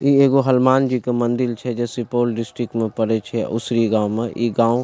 ई एगो हनुमान जी के मंदिर छे जे सुपौल डिस्ट्रिक्ट में पड़ै छे उसरी गांव में ई गांव --